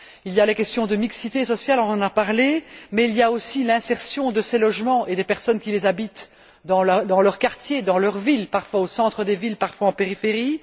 Il y a les questions de mixité sociale, dont on a parlé, mais il y a aussi l'insertion de ces logements et des personnes qui les habitent dans leur quartier, dans leur ville, parfois au centre des villes, parfois en périphérie.